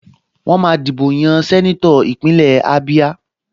Wọ́n máa dìbò yan sẹ́nétọ̀ Ìpínlẹ̀ Ábíá